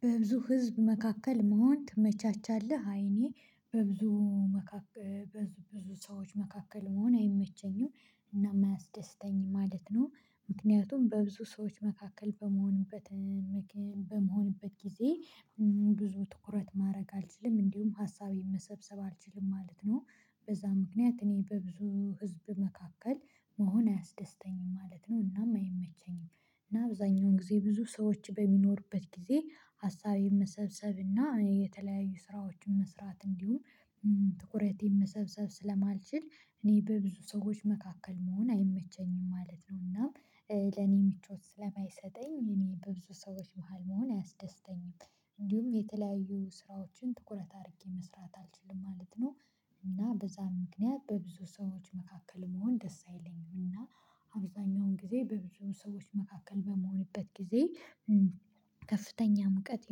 በብዙ ህዝብ መካከል መሆን ትመቻቻለህ? አይ እኔ በብዙ መካከል በብዙ ሰዎች መካከል መሆን አይመቸኝም። እናም አያስደስተኝም ማለት ነው። ምክንያቱም በብዙ ሰዎች መካከል በምሆንበት በምሆንበት ጊዜ ብዙ ትኩረት ማድረግ አልችልም። እንዲሁም ሀሳቤን መሰብሰብ አልችልም ማለት ነው። በዛ ምክንያት እኔ በብዙ ህዝብ መካከል መሆን አያስደስተኝም ማለት ነው። እናም አይመቸኝም። እና አብዛኛውን ጊዜ ብዙ ሰዎች በሚኖሩበት ጊዜ ሀሳቤን መሰብሰብ እና የተለያዩ ስራዎችን መስራት እንዲሁም ትኩረቴን መሰብሰብ ስለማልችል እኔ በብዙ ሰዎች መካከል መሆን አይመቸኝም ማለት ነው። እና ለኔ የምቾት ስለማይሰጠኝ እኔ በብዙ ሰዎች መሃል መሆን አያስደስተኝም። እንዲሁም የተለያዩ ስራዎችን ትኩረት አድርጌ መስራት አልችልም ማለት ነው። እና በዛ ምክንያት በብዙ ሰዎች መካከል መሆን ደስ አይለኝም። እና አብዛኛውን ጊዜ በብዙ ሰዎች መካከል በምሆንበት ጊዜ ከፍተኛ ሙቀት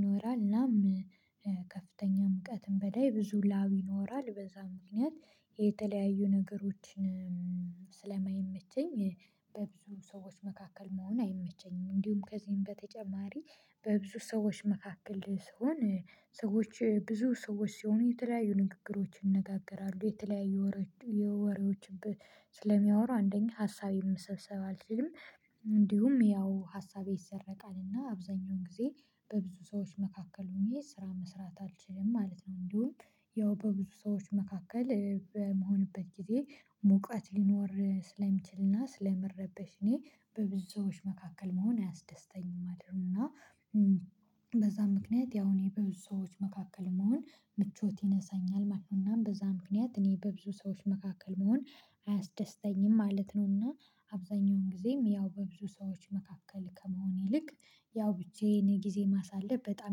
ይኖራል። እናም ከከፍተኛ ሙቀትም በላይ ብዙ ላብ ይኖራል። በዛ ምክንያት የተለያዩ ነገሮችን ስለማይመቸኝ በብዙ ሰዎች መካከል መሆን አይመቸኝም። እንዲሁም ከዚህም በተጨማሪ በብዙ ሰዎች መካከል ስሆን ሰዎች ብዙ ሰዎች ሲሆኑ የተለያዩ ንግግሮች ይነጋገራሉ፤ የተለያዩ ወሬዎች ስለሚያወሩ አንደኛ ሀሳቤም መሰብሰብ አልችልም። እንዲሁም ያው ሀሳቤ ይሰረቃል። እና አብዛኛውን ጊዜ በብዙ ሰዎች መካከል ሆኜ ስራ መስራት አልችልም ማለት ነው። እንዲሁም ያው በብዙ ሰዎች መካከል በምሆንበት ጊዜ ሙቀት ሊኖር ስለሚችልና ስለምረበሽ እኔ በብዙ ሰዎች መካከል መሆን አያስደስተኝም ማለት ነው። እና በዛ ምክንያት ያው እኔ በብዙ ሰዎች መካከል መሆን ምቾት ይነሳኛል ማለት ነው። እናም በዛ ምክንያት እኔ በብዙ ሰዎች መካከል መሆን አያስደስተኝም ማለት ነው። እና አብዛኛውን ጊዜም ያው በብዙ ሰዎች መካከል ከመሆን ይልቅ ያው ብቻዬን ጊዜ ማሳለፍ በጣም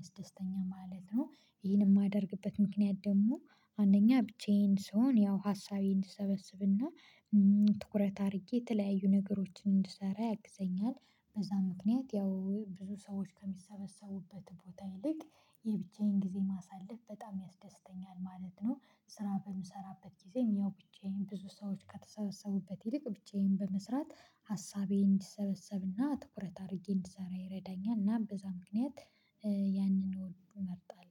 ያስደስተኛ ማለት ነው። ይሄንን የማደርግበት ምክንያት ደግሞ አንደኛ ብቻዬን ስሆን ያው ሀሳቤ እንዲሰበሰብና ትኩረት አድርጌ የተለያዩ ነገሮችን እንድሰራ ያግዘኛል። በዛ ምክንያት ያው ብዙ ሰዎች ከሚሰበሰቡበት ቦታ ይልቅ የብቻዬን ጊዜ ማሳለፍ በጣም ያስደስተኛል ማለት ነው። ስራ በምሰራበት ጊዜም ያው ብቻዬን ብዙ ሰዎች ከተሰበሰቡበት ይልቅ ብቻዬን በመስራት ሀሳቤን እንዲሰበሰብና ትኩረት አድርጌ እንዲሰራ ይረዳኛል። እናም በዛ ምክንያት ያንን እመርጣለሁ።